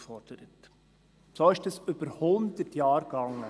So ging dies über hundert Jahre.